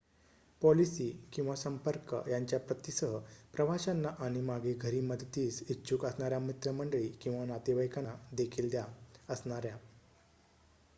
policy / संपर्क यांच्या प्रती सह प्रवाशांना आणि मागे घरी मदतीस इच्छुक असणाऱ्या मित्रमंडळी किंवा नातेवाईकांना देखील द्या असणाऱ्या